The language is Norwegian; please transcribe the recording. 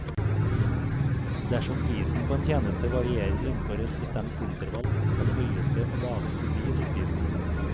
Dersom prisen på en tjeneste varierer innenfor et bestemt intervall, skal høyeste og laveste pris oppgis.